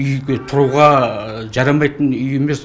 үйге тұруға жарамайтын үй емес